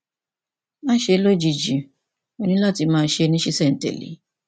máṣe ṣe é lójijì ó ní láti máa ṣe é ní ṣísẹntẹlé